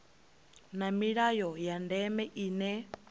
na milayo ya ndeme ine